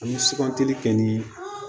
An bɛ sugantili kɛ ni